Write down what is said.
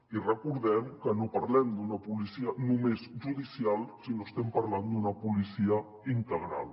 i recordem que no parlem d’una policia només judicial sinó que estem parlant d’una policia integral